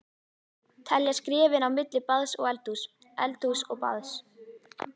Telja skrefin á milli baðs og eldhúss, eldhúss og baðs.